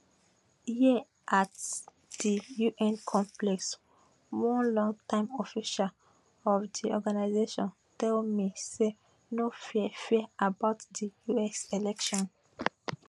here at di un complex one longtime official of di organisation tell me say no fear fear about di us election